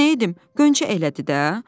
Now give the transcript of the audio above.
Mən nə edim, Qönçə elədi də.